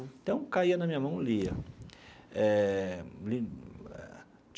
Então, caía na minha mão, lia eh.